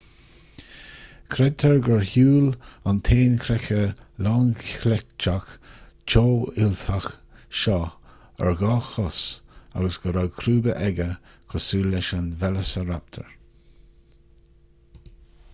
creidtear gur shiúil an t-éan creiche lánchleiteach teofhuilteach seo ar dhá chos agus go raibh crúba aige cosúil leis an veileasaraptar